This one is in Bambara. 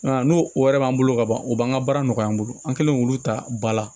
Nka n'o o wɛrɛ b'an bolo ka ban o b'an ka baara nɔgɔya an bolo an kɛlen k'olu ta ba la